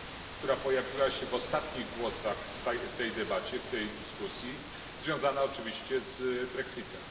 która pojawiła się w ostatnich głosach w tej debacie w tej dyskusji, związana oczywiście z brexitem.